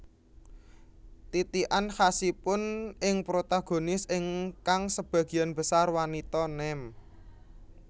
Titikan khasipun ing protagonis ingkang sebagian besar wanita nem